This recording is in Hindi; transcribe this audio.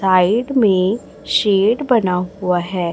साइड मे शेड बना हुआ है।